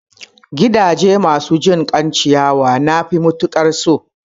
Gidaje masu jinkan ciyawa nafi matukar so